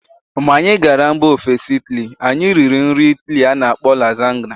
Mgbe anyị gara mba ofesi Ịtali, anyị riri nri Ịtali a na-akpọ Lasagna.